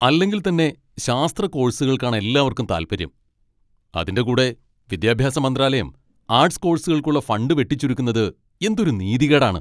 അല്ലെങ്കിൽ തന്നെ ശാസ്ത്ര കോഴ്സുകൾക്കാണ് എല്ലാവർക്കും താല്പര്യം, അതിൻ്റെ കൂടെ വിദ്യാഭ്യാസ മന്ത്രാലയം ആർട്ട്സ് കോഴ്സുകൾക്കുള്ള ഫണ്ട് വെട്ടിച്ചുരുക്കുന്നത് എന്തൊരു നീതികേടാണ്!